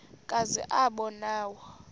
kazi aba nawo